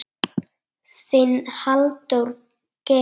Þinn, Halldór Geir.